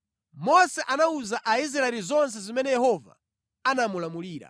Mose anawuza Aisraeli zonse zimene Yehova anamulamulira.